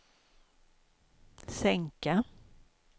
sänka